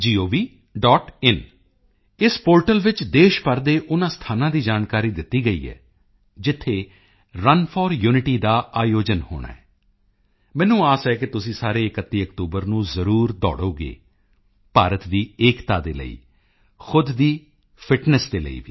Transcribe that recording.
in ਇਸ portal ਵਿੱਚ ਦੇਸ਼ ਭਰ ਦੇ ਉਨ੍ਹਾਂ ਸਥਾਨਾਂ ਦੀ ਜਾਣਕਾਰੀ ਦਿੱਤੀ ਗਈ ਹੈ ਜਿੱਥੇ ਰਨ ਫੋਰ ਯੂਨਿਟੀ ਦਾ ਆਯੋਜਨ ਹੋਣਾ ਹੈ ਮੈਨੂੰ ਆਸ ਹੈ ਕਿ ਤੁਸੀਂ ਸਾਰੇ 31 ਅਕਤੂਬਰ ਨੂੰ ਜ਼ਰੂਰ ਦੌੜੋਗੇ ਭਾਰਤ ਦੀ ਏਕਤਾ ਦੇ ਲਈ ਖੁਦ ਦੀ ਫਿਟਨੈੱਸ ਦੇ ਲਈ ਵੀ